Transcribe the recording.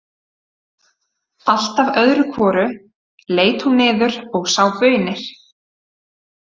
Alltaf öðru hvoru leit hún niður og sá baunir.